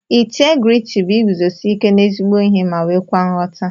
Integriti bu iguzosi ike na ezigbo ihe ma nwekwa nghọta.